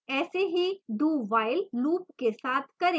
ऐसा ही dowhile loop के साथ करें